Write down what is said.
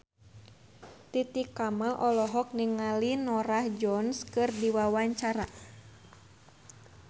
Titi Kamal olohok ningali Norah Jones keur diwawancara